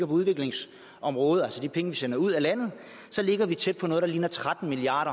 på udviklingsområdet altså de penge vi sender ud af landet ligger vi tæt på noget der ligner tretten milliard